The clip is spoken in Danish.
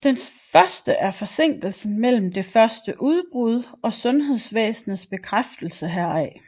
Den første er forsinkelsen mellem det første udbrud og sundhedsvæsenets bekræftelsen heraf